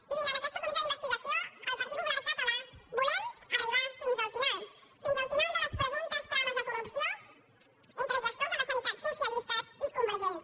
mirin en aquesta comissió d’investigació el partit popular català volem arribar fins al final fins al final de les presumptes trames de corrupció entre gestors de la sanitat socialistes i convergents